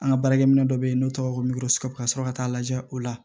An ka baarakɛminɛ dɔ bɛ yen n'o tɔgɔ ye ko ka sɔrɔ ka t'a lajɛ o la